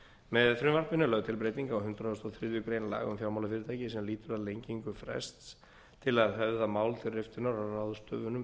með frumvarpinu er lögð til breyting á hundrað og þriðju grein laga um fjármálafyrirtæki sem lýtur að lengingu frests til að höfða mál til riftunar á ráðstöfunum